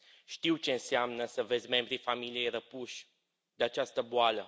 Știu ce înseamnă să vezi membrii familiei răpuși de această boală.